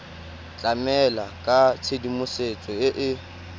tlamela ka tshedimosetso e e